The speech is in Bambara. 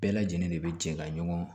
Bɛɛ lajɛlen de bɛ jɛ ka ɲɔgɔn